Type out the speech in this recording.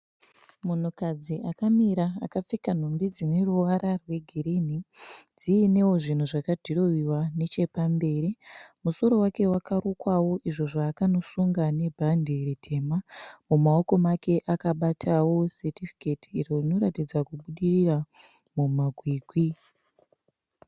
Munhukadzi akamira akapfeka nhumbi dzine ruvara rwegirini, dziinewo zvinhu zvakadhirohwiwa nechepamberi, musoro wake wakarukwawo izvo zvaakanosunga nebhande ritema. Mumaoko make akabatawo setifiketi iro rinoratidza kubudirira mumakwikwi